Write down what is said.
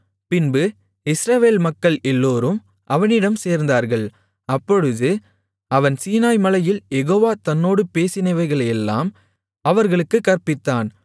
பின்பு இஸ்ரவேல் மக்கள் எல்லோரும் அவனிடம் சேர்ந்தார்கள் அப்பொழுது அவன் சீனாய் மலையில் யெகோவா தன்னோடு பேசினவைகளையெல்லாம் அவர்களுக்குக் கற்பித்தான்